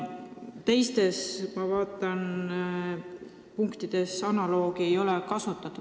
Teistes punktides sellist analoogi ei ole.